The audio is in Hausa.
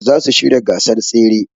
Zasu shirya gasar tsere